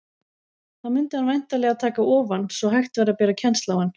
Þá mundi hann væntanlega taka ofan, svo hægt væri að bera kennsl á hann.